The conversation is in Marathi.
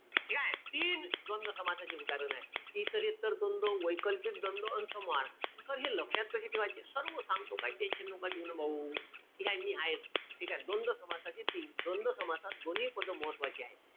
ठीकेय? तीन द्वंद्व समासाचे उदाहरण आहे. इतरेत्तर द्वंद्व, वैकल्पिक द्वंद्व अन समाहार. Sir हे लक्षात कशे ठेवाचे? सर्व सांगतो काईच tension नका घेऊ न भाऊ. ठीकेय? मी हायेच. ठीकेय? द्वंद्व समासाचे तीन. द्वंद्व समासात दोन्ही पद महत्वाचे आहे.